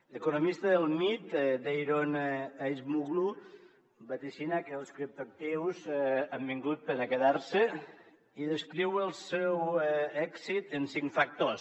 l’economista del mit daron acemoglu vaticina que els criptoactius han vingut per a quedar se i descriu el seu èxit en cinc factors